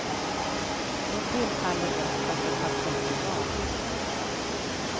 Då tillfaller rösten det parti du valt. punkt